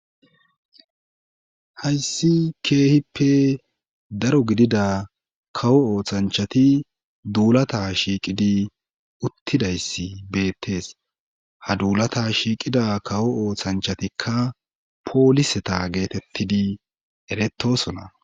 hayssi keehippe daro gidida kawo ooththanchati duulata shiiqidi uttidayssi beettees ha duulata shiiqida kawo ooththanchatikka pooliseta geetettidi eretosona